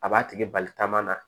A b'a tigi bali taama na